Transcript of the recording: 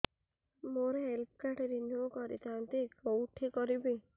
ମୋର health card renew କରିଥାନ୍ତି କୋଉଠି କରିବି